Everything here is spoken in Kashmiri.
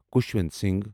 خوشونت سنگھ